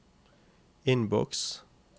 innboks